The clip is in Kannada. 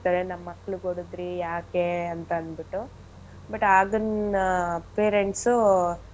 ನಮ್ ಮಕ್ಳಿಗ್ ಹೊಡದ್ರಿ ಯಾಕೆ ಅಂತಂದ್ಬಿಟ್ಟು but ಅದನ್ನ parents ಉ.